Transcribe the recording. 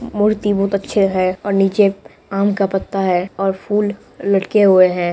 मूर्ति बहुत अच्छे है और नीचे आम का पत्ता है और फूल लटके हुए हैं।